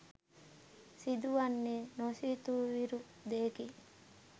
සිදුවන්නේ නොසිතූවිරූ දෙයකි